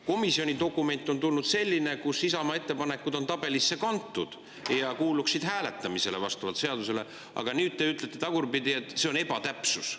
Komisjonist on tulnud selline dokument, kus Isamaa ettepanekud on tabelisse kantud ja kuuluksid hääletamisele vastavalt seadusele, aga nüüd te ütlete, et see on ebatäpsus.